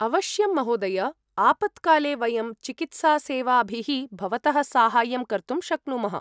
अवश्यं महोदय! आपत्काले वयं चिकित्सासेवाभिः भवतः साहाय्यं कर्तुं शक्नुमः।